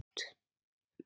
Allt svo ljótt.